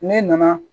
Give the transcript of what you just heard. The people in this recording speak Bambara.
Ne nana